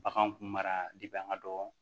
Bagan kun mara an ka dɔgɔ